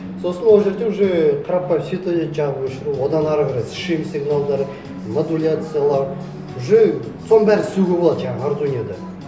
сосын ол жерлерде уже қарапайым светодиод жағып өшіру одан ары қарай сигналдары модуляциялау уже соның бәрін істеуге болады жаңағы ардуинода